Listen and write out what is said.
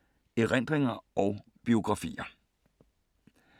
Erindringer og biografier